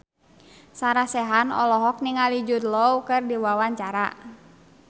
Sarah Sechan olohok ningali Jude Law keur diwawancara